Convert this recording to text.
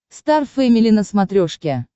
стар фэмили на смотрешке